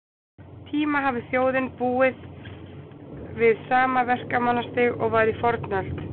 tíma hafi þjóðin búið við sama verkmenningarstig og var í fornöld.